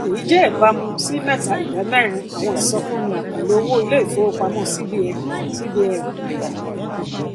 èyí jẹ ìbámu sí mẹta idà mérin àwọn ìsọfúnni àkànlò owó iléifowopamọ cbn cbn